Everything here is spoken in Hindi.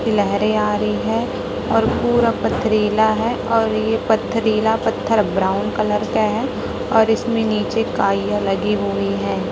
लैहरें आ रही है और पूरा पथरीला है और ये पथरीला पत्थर ब्राउन कलर का है और इसमें नीचे काईया लगी हुई है।